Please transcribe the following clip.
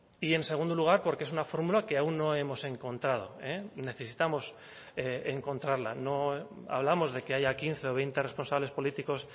y en segundo lugar porque es una fórmula que aún no hemos encontrado necesitamos encontrarla no hablamos de que haya quince o veinte responsables políticos